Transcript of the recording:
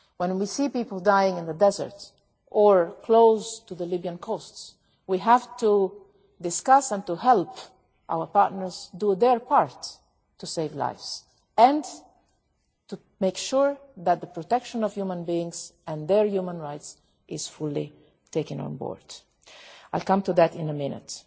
When we see people dying in the desert, or close to the Libyan coast, we need to have discussions with, and to help, our partners do their part to save lives and to make sure that the protection of human beings and their human rights is fully taken on board and I will come back to that in a minute.